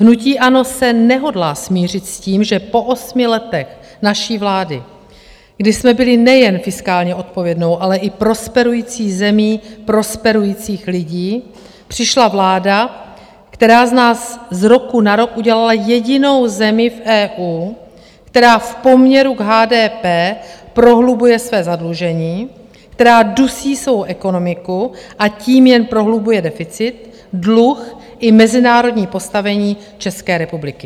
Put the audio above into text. Hnutí ANO se nehodlá smířit s tím, že po osmi letech naší vlády, kdy jsme byli nejen fiskálně odpovědnou, ale i prosperující zemí prosperujících lidí, přišla vláda, která z nás z roku na rok udělala jedinou zemi v EU, která v poměru k HDP prohlubuje své zadlužení, která dusí svou ekonomiku, a tím jen prohlubuje deficit, dluh, i mezinárodní postavení České republiky.